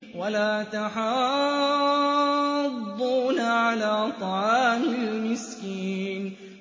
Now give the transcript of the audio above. وَلَا تَحَاضُّونَ عَلَىٰ طَعَامِ الْمِسْكِينِ